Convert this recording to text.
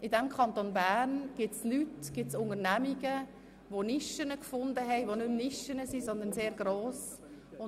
Im Kanton Bern gibt es Leute, Unternehmungen, die Nischen gefunden haben, welche mittlerweile aber keine Nischen mehr, sondern stark gewachsen sind.